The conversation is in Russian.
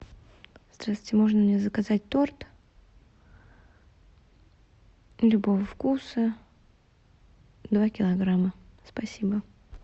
здравствуйте можно мне заказать торт любого вкуса два килограмма спасибо